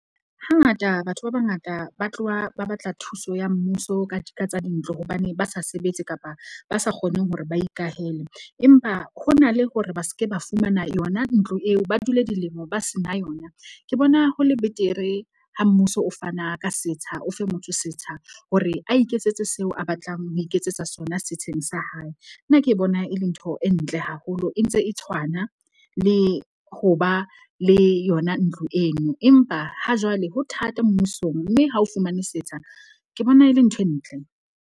Hangata batho ba bangata ba tloha ba batla thuso ya mmuso ka ka tsa dintlo hobane ba sa sebetse kapa ba sa kgone hore ba ikwahele. Empa ho na le hore ba ske ba fumana yona ntlo eo, ba dule dilemo ba se na yona. Ke bona ho le betere ha mmuso o fana ka setsha o fe motho setsha, hore a iketsetse seo a batlang ho iketsetsa sona setsheng sa hae. Nna ke bona e le ntho e ntle haholo, e ntse e tshwana le ho ba le yona ntlo eno. Empa ha jwale ho thata mmusong, mme ha o fumane setsha, ke bona e le ntho e ntle.